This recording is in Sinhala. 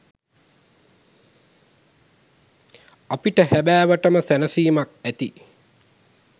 අපිට හැබෑවටම සැනසීමක් ඇති